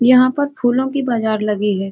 यहाँ पर फूलों की बाजार लगी है ।